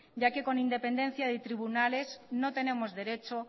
ya que con independencia de tribunales no tenemos derecho